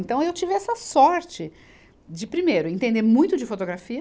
Então, eu tive essa sorte de, primeiro, entender muito de fotografia,